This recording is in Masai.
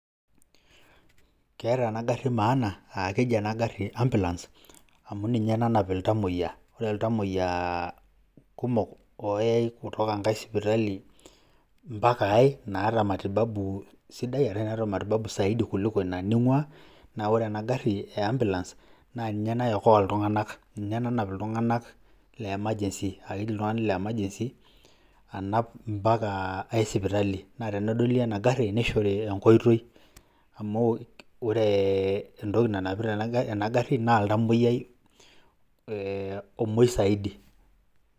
Keeta ena gari maana aa keji ena gari ambulance amu ninye nanap iltamueyia. Ore iltamueyia kumok oyai kutoka enkae sipitali mpaka ai naata matibabu sidai arashu enaata matibabu zaidi kuliko ina ning'ua naa ore ena gari e ambulance naa ninye naiokoa iltung'anak ninye nanap ilrung'anak le emergency apik iltung'anak le emergency anap mpaka ai sipitali. Naa tenedoli ena gari nishori enkoitoi amu kore entoki nanapita ena gari naa oltamueyiai omuei zaidi.